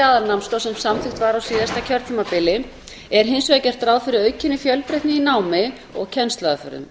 aðalnámskrá sem samþykkt var á síðasta kjörtímabili er hins vegar gert ráð fyrir aukinni fjölbreytni í námi og kennsluaðferðum